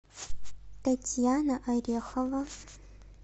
татьяна орехова